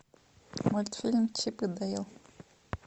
мультфильм чип и дейл